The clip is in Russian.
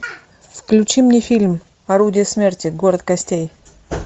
включи мне фильм орудие смерти город костей